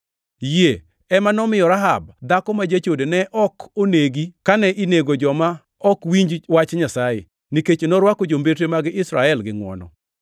Yie ema nomiyo Rahab dhako ma jachode ne ok nonegi kane inego joma ok winj wach Nyasaye, nikech norwako jombetre mag Israel gi ngʼwono.